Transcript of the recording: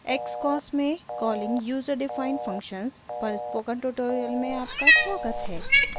xcos में calling userdefined functions पर spoken tutorial में आपका स्वागत है